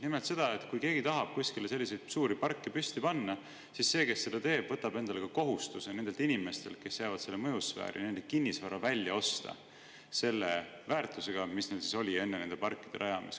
Nimelt seda, et kui keegi tahab kuskile selliseid suuri parke püsti panna, siis ta võtab endale ka kohustuse nendelt inimestelt, kes jäävad selle mõjusfääri, nende kinnisvara välja osta selle väärtusega, mis sel oli enne nende parkide rajamist.